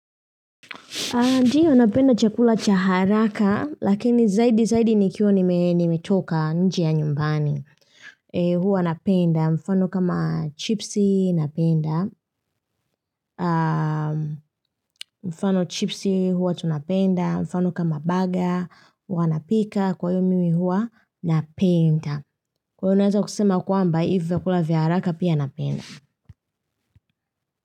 Ndiyo, napenda chakula cha haraka, lakini zaidi zaidi nikiwa nimetoka nje ya nyumbani. Huwa napenda, mfano kama chipsi, napenda. Mfano chipsi, huwa tunapenda. Mfano kama baga, huwa napika. Kwa hivyo mimi huwa, napenda. Kwa hivyo naweza kusema kwamba, hivya kula vya haraka pia napenda.